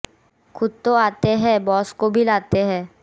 खुद तो आते हैं बॉस को भी लाते हैं